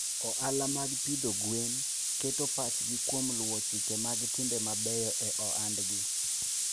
Ohala mag pidho gwen keto pachgi kuom luwo chike mag timbe mabeyo e ohandgi.